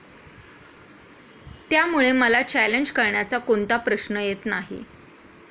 त्यामुळे मला चॅलेंज करण्याचा कोणता प्रश्न येत नाही.